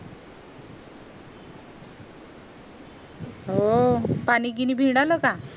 हो पाणी बिनी आलं का